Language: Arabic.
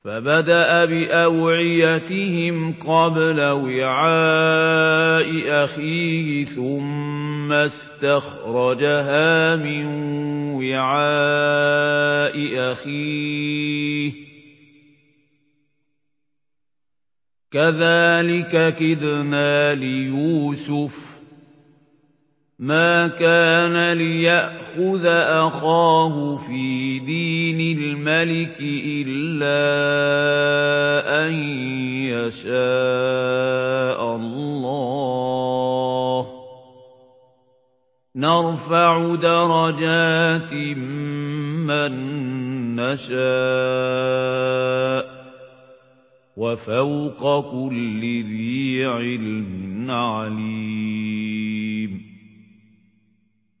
فَبَدَأَ بِأَوْعِيَتِهِمْ قَبْلَ وِعَاءِ أَخِيهِ ثُمَّ اسْتَخْرَجَهَا مِن وِعَاءِ أَخِيهِ ۚ كَذَٰلِكَ كِدْنَا لِيُوسُفَ ۖ مَا كَانَ لِيَأْخُذَ أَخَاهُ فِي دِينِ الْمَلِكِ إِلَّا أَن يَشَاءَ اللَّهُ ۚ نَرْفَعُ دَرَجَاتٍ مَّن نَّشَاءُ ۗ وَفَوْقَ كُلِّ ذِي عِلْمٍ عَلِيمٌ